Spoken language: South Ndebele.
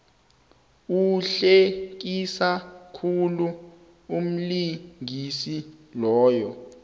uhlekisa khulu umlingisi loya